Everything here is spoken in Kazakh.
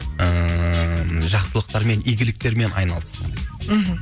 ііі жақсылықтармен игіліктермен айналыссын мхм